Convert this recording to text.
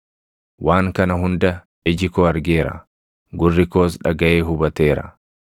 “Waan kana hunda iji koo argeera; gurri koos dhagaʼee hubateera.